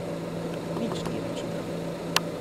Nič ni računal.